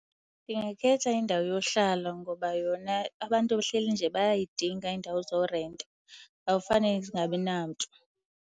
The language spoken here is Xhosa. Ndingakhetha indawo yohlala ngoba yona abantu behleli nje bayayidinga iindawo zorenta, awufane zingabi namntu.